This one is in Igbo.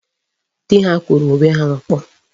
Dị ha kụrụ onwe ha ọkpọ.